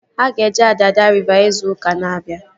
Ha ga-eje Adada riva izu ụka na-abịa